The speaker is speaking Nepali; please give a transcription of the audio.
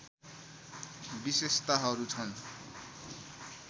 विशेषताहरू छन्